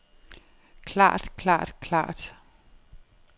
klart klart klart